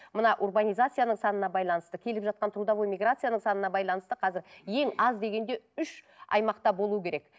мына урбанизацияның санына байланысты келіп жатқан трудовой миграцияның санына байланысты қазір ең аз дегенде үш аймақта болу керек